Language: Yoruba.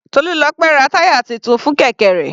Tolulope ra táyà titun fún kẹ̀kẹ́ rẹ̀.